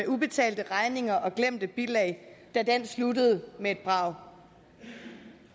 ubetalte regninger og glemte bilag sluttede med et brag